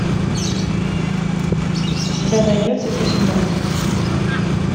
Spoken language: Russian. у тебя найдется письмо